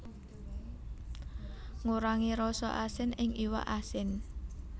Ngurangi rasa asin ing iwak asin